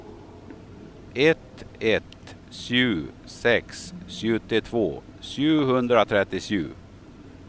ett ett sju sex sjuttiotvå sjuhundratrettiosju